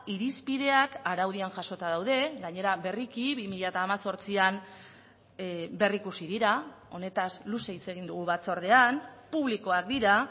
irizpideak araudian jasota daude gainera berriki bi mila hemezortzian berrikusi dira honetaz luze hitz egin dugu batzordean publikoak dira